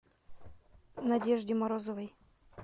надежде морозовой